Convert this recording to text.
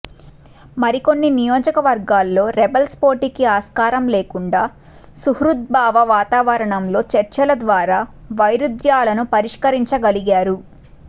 మరికొన్ని నియోజకవర్గాల్లో రెబల్స్ పోటీకి ఆస్కారం లేకుండా సుహృద్భావ వాతావరణంలో చర్చల ద్వారా వైరుధ్యాలను పరిష్కరించగలిగారు